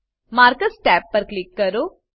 markers tab પર click કરો